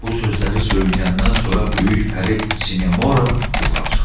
Bu sözləri söyləyəndən sonra böyük pəri Sinemora yuxa çıxdı.